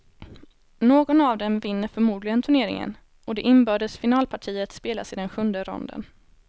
Någon av dem vinner förmodligen turneringen, och det inbördes finalpartiet spelas i den sjunde ronden.